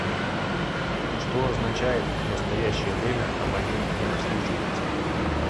что означает в настоящее время абонент не обслуживается